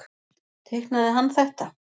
Teiknaði hann þetta?